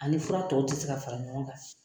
A ni fura tɔw ti se ka fara ɲɔgɔn kan.